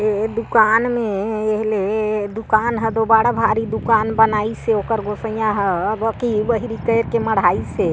ये दुकान मे ए ले दुकान ह तो बड़ भारी दुकान बनाईश हे ओकर गोसईय्या हर मढ़हाईस हे।